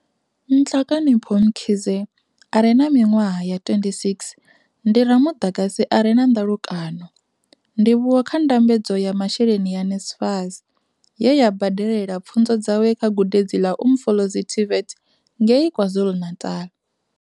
Nhlakanipho Mkhize are na miṅwaha ya 26 ndi ramuḓagasi are na nḓalukano, ndivhuwo kha ndambedzo ya masheleni ya NSFAS, ye ya badelela pfunzo dzawe kha Gudedzi ḽa Umfolozi TVET ngei KwaZulu-Natal.